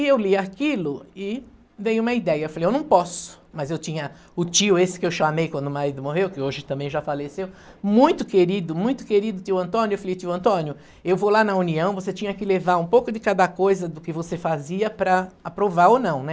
E eu li aquilo e dei uma ideia, falei, eu não posso, mas eu tinha o tio esse que eu chamei quando o marido morreu, que hoje também já faleceu, muito querido, muito querido tio Antônio, eu falei, tio Antônio, eu vou lá na União, você tinha que levar um pouco de cada coisa do que você fazia para aprovar ou não, né?